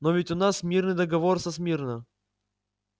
но ведь у нас мирный договор со смирно